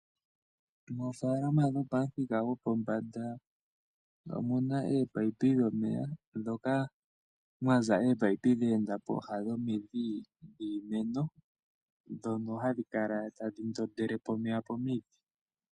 Moofalama dhopomuthika gwopombanda omuna omimino dhomeya ndhoka mwaza ominino dheenda pooha dhomidhi dhiimeno, ndhono hadhi kala tadhi ndondele omeya pomidhi.